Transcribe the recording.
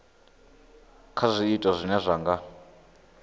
kha zwiito zwine zwa nga